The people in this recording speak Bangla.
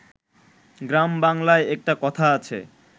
গ্রাম বাংলায় একটা কথা আছে